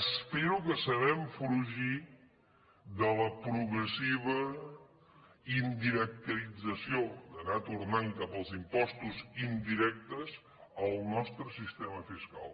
espero que sabrem fugir de la progressiva indirecterització d’anar tornant cap als impostos indirectes el nostre sistema fiscal